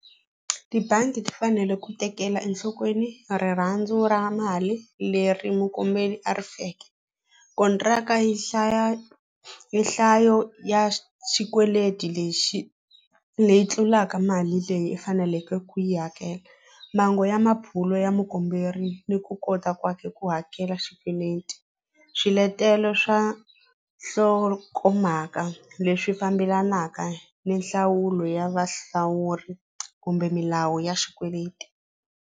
Tibangi ti fanele ku tekela enhlokweni rirhandzu ra mali leri mukomberi a ri feke kontraka yi hlaya hi nhlayo ya xikweleti lexi leyi tlulaka mali leyi u faneleke ku yi hakela mhangu ya ya mukomberi ni ku kota ku hakela xikweleti swiletelo swa nhlokomhaka leswi fambelanaka ni nhlawulo ya vahlawuri kumbe milawu ya xikweleti.